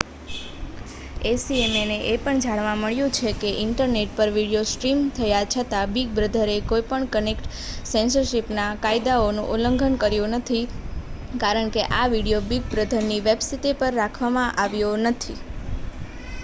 acma ને એ પણ જાણવા મળ્યુ છે કે ઈન્ટરનેટ પર વિડિઓ સ્ટ્રીમ થયા છતાં બિગ બ્રધરએ કોઈ પણ કન્ટેન્ટ સેન્સરશીપ ના કાયદાઓ નું ઉલ્લંઘન કર્યુ નથી કારણ કે આ વિડિઓ બિગ બ્રધર ની વેબ્સિતે પર રાખવા માં આવ્યો નથી